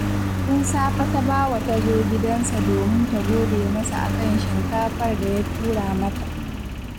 Tun safe Tabawa ta zo gidansa domin ta gode masa a kan shinkafar da ya tura mata